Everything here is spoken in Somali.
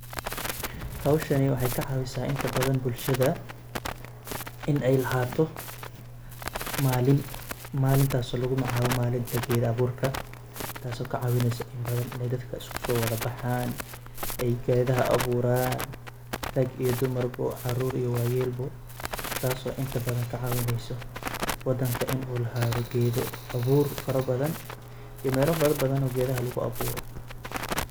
Howshani waxay ka caawisaa inta badan bulshada in ay lahaato maalin. Maalintaas oo lugu magacaabo maalinta geed abuurka. Taas oo ka caawinaysa in badan in dadka usku soo wada baxaan, ay geedaha abuuran, rag iyo dumar, caruur iyo waayeel taas oo inta badan ka caawinayso wadanka in uu lahaado geedo abuur farabadan iyo meelo farabadan oo geedaha lugu abuuro.